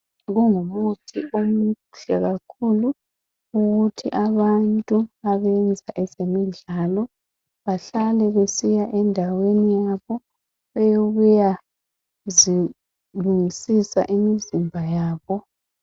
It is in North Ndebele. Kungumuthi omuhle kakhulu abantu abenza ezemidlalo bahlale besiya endaweni yabo eyokuya zilungisisa imizimba yabo